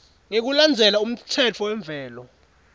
ngekulandzela umtsetfo wemvelo